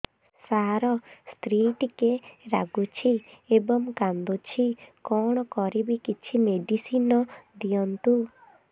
ସାର ସ୍ତ୍ରୀ ଟିକେ ରାଗୁଛି ଏବଂ କାନ୍ଦୁଛି କଣ କରିବି କିଛି ମେଡିସିନ ଦିଅନ୍ତୁ